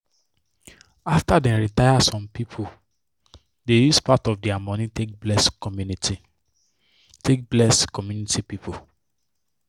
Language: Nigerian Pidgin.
after dem retire some people dey use part of dia money take bless community take bless community people.